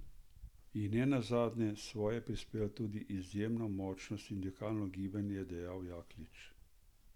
In ne nazadnje, svoje je prispevalo tudi izjemno močno sindikalno gibanje, je dejal Jaklič.